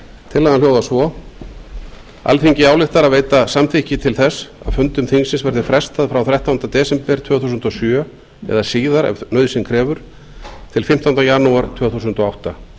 tillagan hljóðar svo alþingi ályktar að veita samþykki til þess að fundum þingsins verði frestað frá þrettánda desember tvö þúsund og sjö eða síðar ef nauðsyn krefur til fimmtánda janúar tvö þúsund og átta